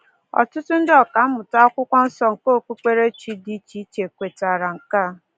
Ọtụtụ ndị ọkammụta Akwụkwọ Nsọ nke okpukperechi dị iche iche kwetara nke a.